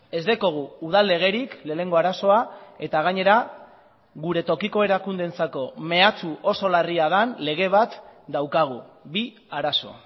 ez daukagu udal legerik lehenengo arazoa eta gainera gure tokiko erakundeentzako mehatxu oso larria den lege bat daukagu bi arazo